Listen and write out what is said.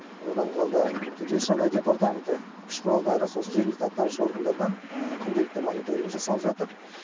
одан қалды төтенше жағдай департаменті күш құралдары сосын жергілікті атқарушы органдардан күнделікті мониторинг жасалып жатыр